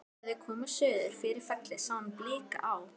Þegar þau komust suður fyrir fellið sá hún blika á